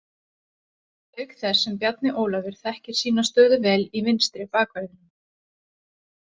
Auk þess sem Bjarni Ólafur þekkir sína stöðu vel í vinstri bakverðinum.